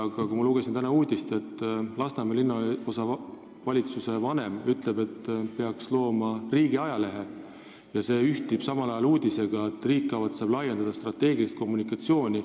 Aga ma lugesin täna ka uudist, kus Lasnamäe Linnaosa Valitsuse vanem ütleb, et peaks looma riigiajalehe, mis ühtib uudisega, et riik kavatseb laiendada strateegilist kommunikatsiooni.